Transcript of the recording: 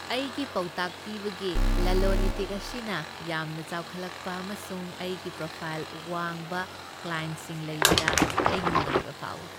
ꯑꯩꯒꯤ ꯄꯥꯎꯇꯥꯛ ꯄꯤꯕꯒꯤ ꯂꯂꯣꯟ ꯏꯇꯤꯛ ꯑꯁꯤꯅ ꯌꯥꯝꯅ ꯆꯥꯎꯈꯠꯂꯛꯄ ꯑꯃꯁꯨꯡ ꯑꯩꯒꯤ ꯄ꯭ꯔꯣꯐꯥꯏ꯭ꯜ ꯋꯥꯡꯕ ꯀ꯭ꯂꯥꯏꯟ꯭ꯇꯁꯤꯡ ꯂꯩꯕꯗ ꯑꯩ ꯅꯨꯡꯉꯥꯏꯕ ꯐꯥꯎꯏ ꯫